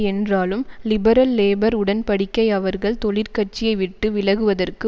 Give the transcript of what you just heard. என்றாலும் லிபரல்லேபர் உடன் படிக்கை அவர்கள் தொழிற்கட்சியை விட்டு விலகுவதற்கு